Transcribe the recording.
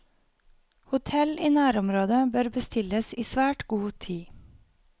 Hotell i nærområdet bør bestilles i svært god tid.